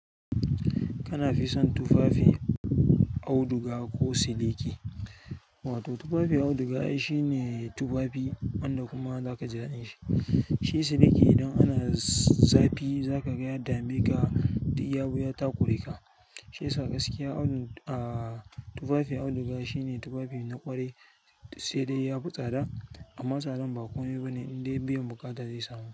Kana fison tufafi, auduga ko siliki? Wato tufafi auduga au shi ne tufafi wanda kuma zaka ji daɗin shi. Shi siliki idan ana zapi zaka ga ya dameka dak yabi ya ta ƙuri ka. Shiyasa gaskiya, tufafi auduga shine tufafi na ƙwari sai dai ya fi tsada amma tsadan ba komai ba ne indai biyan buƙata zai samu.